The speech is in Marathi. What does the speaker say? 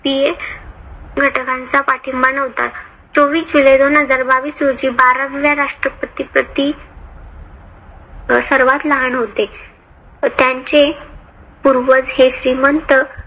पिये घटकांचा पाठींबा नव्हता. चोवीस जुलै दोन हजार बावीस रोजी बाराव्या राष्ट्रपती पती सर्वात लहान होते. त्यांचे पूर्वज हे श्रीमंत